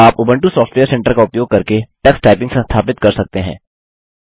आप Ubuntu software center का उपयोग करके टक्स टाइपिंग संस्थापित कर सकते हैं